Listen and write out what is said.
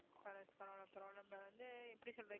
correct பரவாயில்லை பரவாயில்லை நம்ம வந்து எப்படி சொல்றது